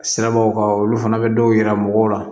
Sirabaw kan olu fana bɛ dɔw yira mɔgɔw la